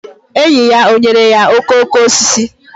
Enyi ya o nyere ya okooko osisi?